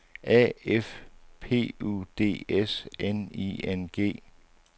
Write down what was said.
A F P U D S N I N G